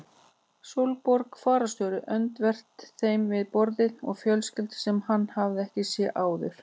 Sólborg fararstjóri öndvert þeim við borðið og fjölskylda sem hann hafði ekki séð áður.